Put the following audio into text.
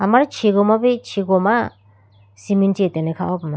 amari chigoma bi chigoma cement chi atene khaho puma.